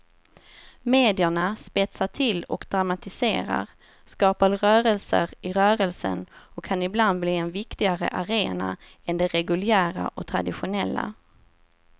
Medierna spetsar till och dramatiserar, skapar rörelser i rörelsen och kan ibland bli en viktigare arena än de reguljära och traditionella.